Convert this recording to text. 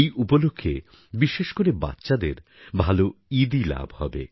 এই উপলক্ষে বিশেষ করে বাচ্চাদের ভালো ঈদি লাভ হবে